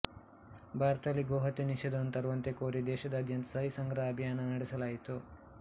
ಭಾರತದಲ್ಲಿ ಗೋಹತ್ಯೆ ನಿಷೇಧವನ್ನು ತರುವಂತೆ ಕೋರಿ ದೇಶದಾದ್ಯಂತ ಸಹಿ ಸಂಗ್ರಹ ಅಭಿಯಾನವನ್ನು ನಡೆಸಲಾಯಿತು